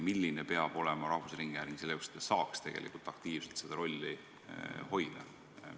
Milline peab olema rahvusringhääling selle jaoks, et ta saaks aktiivselt seda rolli hoida?